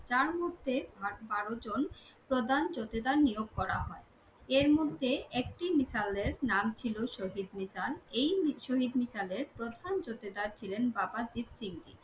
যার মধ্যে বারোজন প্রধান জোঠেদার নিয়োগ করা হয়, এর মধ্যে একটি নীতালের নাম ছিল শহীদ নিতাল। এই শহীদ নীতালের প্রধান জোঠেদার ছিলেন বাবা দীপসিং জি।